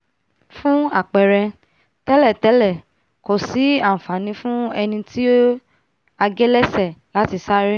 fún àpẹrẹ tẹ́lẹ̀tẹ́lẹ̀ kò sí ànfàní fún ẹní tí a gé lẹ́sẹ̀ láti sáré